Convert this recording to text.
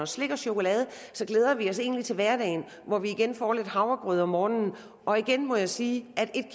slik og chokolade så glæder vi os egentlig til hverdagen hvor vi igen får lidt havregrød om morgenen og igen må jeg sige at en